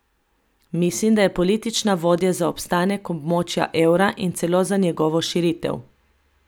Mislim, da je politična volja za obstanek območja evra in celo za njegovo širitev.